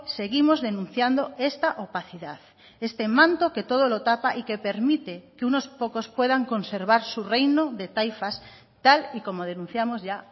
seguimos denunciando esta opacidad este manto que todo lo tapa y que permite que unos pocos puedan conservar su reino de taifas tal y como denunciamos ya